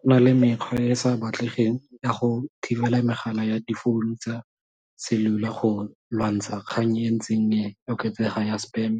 Go na le mekgwa e e sa batlegeng ya go thibela megala ya difounu tsa cellular go lwantsha kgang e ntseng oketsega ya spam,